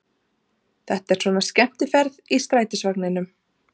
Þetta er svona skemmtiferð í strætisvagninum!